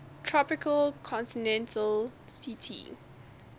tropical continental ct